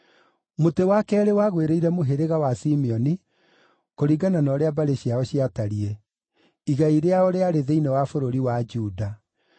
Mũtĩ wa keerĩ wagwĩrĩire mũhĩrĩga wa Simeoni, kũringana na ũrĩa mbarĩ ciao ciatariĩ. Igai rĩao rĩarĩ thĩinĩ wa bũrũri wa Juda.